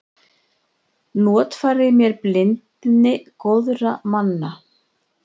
Notfærði mér blindni góðra manna.